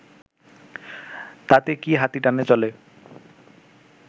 তাতে কি হাতি টানা চলে